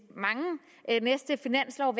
at næste finanslov